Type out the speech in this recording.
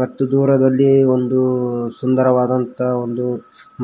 ಮತ್ತು ದೂರದಲಿ ಒಂದು ಸುಂದರವಾದಂತಹ ಒಂದು